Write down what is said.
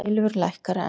Silfur lækkar enn